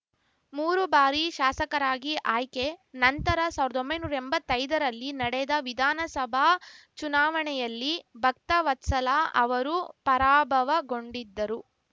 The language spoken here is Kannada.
ಮೂರು ಬಾರಿ ಶಾಸಕರಾಗಿ ಆಯ್ಕೆ ನಂತರ ಸಾವ್ರ್ದೊಂಬೈನೂರಾ ಎಂಬತ್ತೈದರಲ್ಲಿ ನಡೆದ ವಿಧಾನಸಭಾ ಚುನಾವಣೆಯಲ್ಲಿ ಭಕ್ತವತ್ಸಲ ಅವರು ಪರಾಭವಗೊಂಡಿದ್ದರು